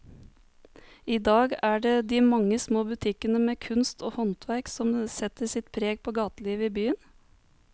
I dag er det de mange små butikkene med kunst og håndverk som setter sitt preg på gatelivet i byen.